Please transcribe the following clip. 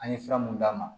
An ye fura mun d'a ma